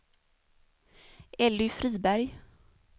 Elly Friberg